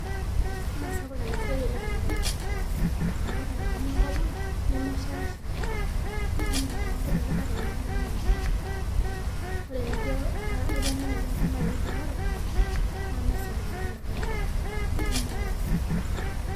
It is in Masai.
Meesapuk enasiai oleng tenkop aang amu ntokitin enkop ang nemeshaasha, tonkuti katitin ake esha ore enijo aitanyanyikie enkop nijo narok na kesapuk enchan te kejiado, neaku me.